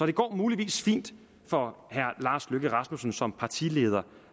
det går muligvis fint for herre lars løkke rasmussen som partileder